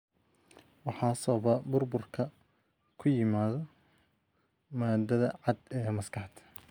Waxaa sababa burburka ku yimaada maaddada cad ee maskaxda.